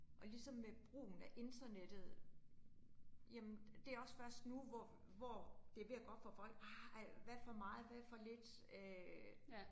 Og ligesom med brugen af internettet. Jamen det også først nu, hvor hvor det ved at gå op for folk ah, hvad for meget hvad for lidt øh